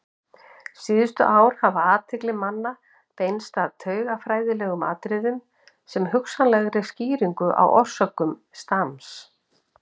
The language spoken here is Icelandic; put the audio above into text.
Síðustu ár hefur athygli manna beinst að taugafræðilegum atriðum sem hugsanlegri skýringu á orsökum stams.